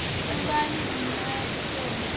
suvhani nṋe a thi sengi